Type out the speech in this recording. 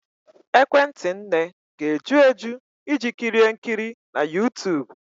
Ekwentị nne ga-eju eju iji kirie nkiri na YouTube?